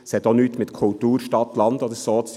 Es hat auch nichts mit Kultur Stadt/Land zu tun.